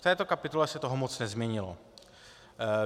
V této kapitole se toho moc nezměnilo.